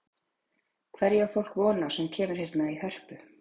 Hverju á fólk von á sem kemur hérna í Hörpu?